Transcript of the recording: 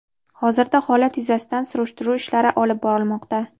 Hozirda holat yuzasidan surishtiruv ishlari olib borilmoqda.